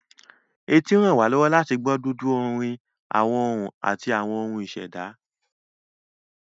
Etí ràn wá lọ́wọ́ láti gbọ́ dúndún bíi orin, àwọn ohùn, àti ohun ìṣẹ̀dá